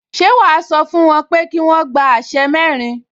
Ṣé wàá sọ fún wọn pé kí wọ́n gbé aṣẹ́ mẹ́rin